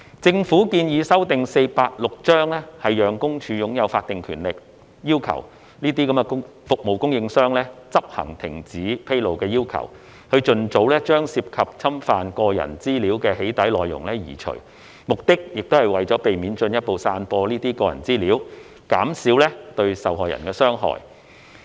政府建議修訂《私隱條例》，讓私隱公署擁有法定權力要求這些服務供應商執行停止披露的要求，以盡早將涉及侵犯個人資料的"起底"內容移除，目的也是為避免進—步散播該等個人資料，減少對受害人的傷害。